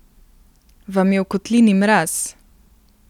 Vam je v kotlini mraz?